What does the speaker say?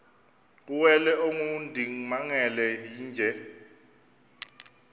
kuwele ongundimangele yeenje